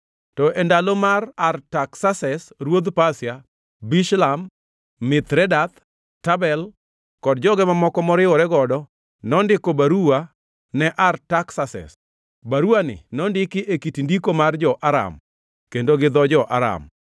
To e ndalo mag Artaksases ruodh Pasia, Bishlam, Mithredath, Tabel kod joge mamoko moriwore godo ne ondiko baruwa ne Artaksases. Baruwani nondiki e kit ndiko mar jo-Aram kendo gi dho jo-Aram.